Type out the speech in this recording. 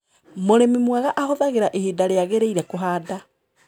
Mũrĩmi mwega ahũthagĩra ihinda rĩagĩrĩire kũhanda.